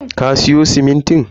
Ka siyo simintin?